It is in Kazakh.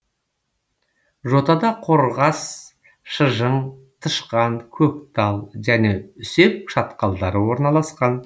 жотада қорғас шыжың тышқан көктал және үсек шатқалдары орналасқан